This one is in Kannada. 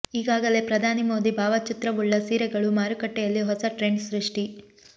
ಈಗಾಗಲೇ ಪ್ರಧಾನಿ ಮೋದಿ ಭಾವಚಿತ್ರವುಳ್ಳ ಸೀರೆಗಳು ಮಾರುಕಟ್ಟೆಯಲ್ಲಿ ಹೊಸ ಟ್ರೆಂಡ್ ಸೃಷ್ಟಿ